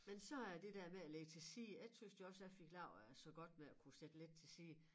Men så er det der med at lægge til side jeg tøs jo også jeg fik levet øh så godt ved at kunne sætte lidt til side